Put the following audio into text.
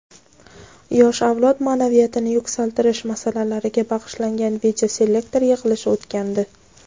yosh avlod maʼnaviyatini yuksaltirish masalalariga bag‘ishlangan videoselektor yig‘ilishi o‘tgandi.